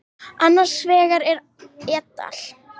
Annar vegar er et al.